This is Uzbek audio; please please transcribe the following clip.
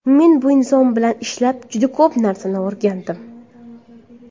Men bu inson bilan ishlab, juda ko‘p narsani o‘rgandim.